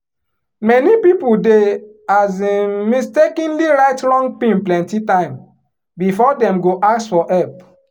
many people dey um mistakenly write wrong pin plenty time before dem go ask for help.